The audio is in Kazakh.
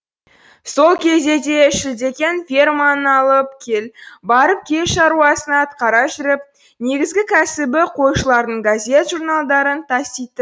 сол кезде де шілдекең ферманың алып кел барып кел шаруасын атқара жүріп негізгі кәсібі қойшылардың газет журналдарын таситын